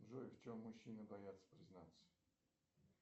джой в чем мужчины боятся признаться